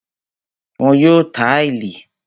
Wọ́n yóò táìlì